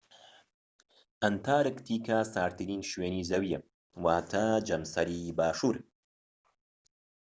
ئەنتارکتیکا ساردترین شوێنی زەویە واتە جەمسەری باشوور